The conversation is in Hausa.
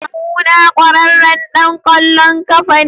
Kawuna kwararren dan kwallon kafa ne.